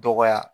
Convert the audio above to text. Dɔgɔya